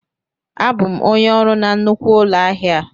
Abụ m onye ọrụ na nnukwu ụlọ ahịa a.